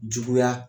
Juguya